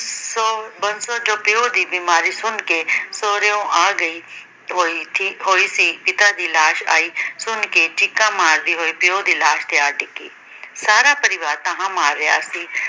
ਸੋ ਬੰਸੋਂ ਜੋ ਪਿੳੇੁ ਦੀ ਬੀਮਾਰੀ ਸੁਣ ਕੇ ਸਹੁਰਿਓ ਆ ਗਈ, ਠੀਕ ਹੋਈ ਸੀ ਪਿਤਾ ਦੀ ਲਾਸ਼ ਆਈ ਸੁਣ ਕੇ ਚੀਕਾਂ ਮਾਰਦੀ ਹੋਈ ਪਿਓ ਦੀ ਲਾਸ਼ ਤੇ ਆ ਡਿੱਗੀ। ਸਾਰਾ ਪਰਿਵਾਰ ਢਾਹਾਂ ਮਾਰ ਰਿਹਾ ਸੀ।